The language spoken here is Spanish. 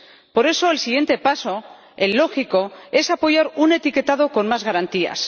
Por eso, el siguiente paso, el lógico, es apoyar un etiquetado con más garantías.